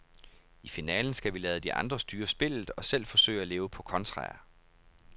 I finalen skal vi lade de andre styre spillet og selv forsøge at leve på kontraer.